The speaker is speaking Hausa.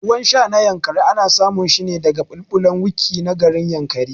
Ruwan sha na Yankari ana samun shine daga babulbulan Wikki na garin Yankari